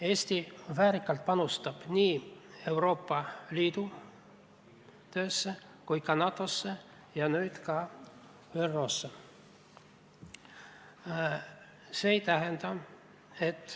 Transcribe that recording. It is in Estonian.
Eesti panustab väärikalt nii Euroopa Liidu töösse kui ka NATO-sse ja nüüd veel ÜRO-sse.